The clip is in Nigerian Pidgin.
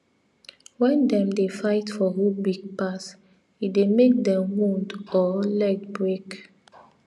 when them dey fight for who big pass e dey make them wound or leg break